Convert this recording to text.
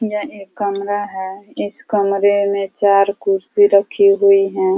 यह एक् कमरा है। इस कमरे में चार कुर्सी रखी हुई हैं।